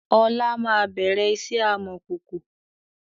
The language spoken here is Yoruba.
Ọlá máa bẹ̀rẹ̀ iṣẹ́ amọ̀kòkò